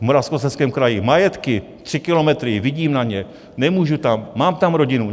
V Moravskoslezském kraji majetky, tři kilometry, vidím na ně, nemůžu tam, mám tam rodinu.